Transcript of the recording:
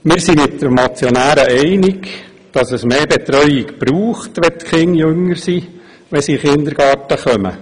Wir sind mit den Motionären einig, dass es mehr Betreuung braucht, wenn die Kinder bei Eintritt in den Kindergarten jünger sind.